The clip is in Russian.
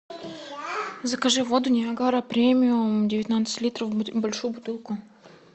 закажи воду ниагара премиум девятнадцать литров большую бутылку